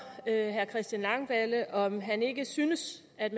herre christian langballe om han ikke synes at